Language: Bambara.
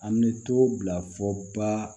An bɛ to bila fɔ ba